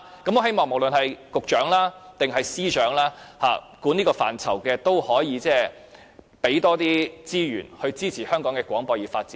我希望無論是局長或司長，所有負責這範疇的官員，請他們提供更多資源，以支持香港的廣播業發展。